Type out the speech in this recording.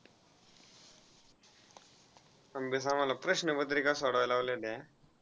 आम्हाला प्रश्नपत्रिका सोडवायला लावलेल्या.